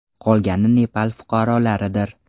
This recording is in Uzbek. Qolgani Nepal fuqarolaridir.